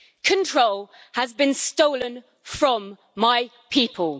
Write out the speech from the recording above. Control has been stolen from my people.